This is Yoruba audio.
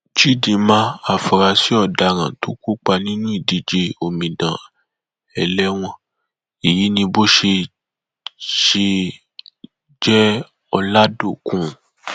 chidima àfúráṣí ọdaràn tó kópa nínú ìdíje omidan ẹlẹwọn èyí ni bó ṣe jẹọlàdọkùn